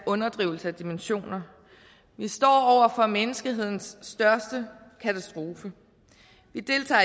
underdrivelse af dimensioner at vi står over for menneskehedens største katastrofe vi deltager